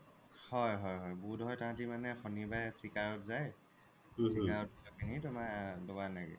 হয় হয় হয় বুধোই সিহতি মানে সনিবাৰে চিকাৰত যাই